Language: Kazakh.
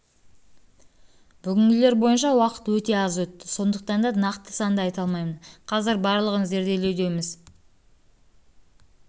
бүгінгілер бойынша уақыт өте аз өтті сондықтанда нақты санды айта алмаймын қазір барлығын зерделеудеміз тек